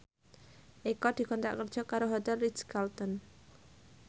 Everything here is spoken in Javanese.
Eko dikontrak kerja karo Hotel Ritz Carlton